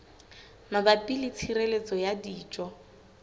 mabapi le tshireletso ya dijo